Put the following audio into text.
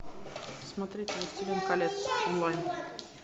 смотреть властелин колец онлайн